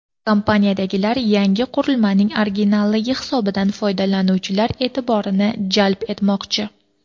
Kompaniyadagilar yangi qurilmaning originalligi hisobidan foydalanuvchilar e’tiborini jalb etmoqchi.